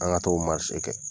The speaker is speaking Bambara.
An ka t'o kɛ.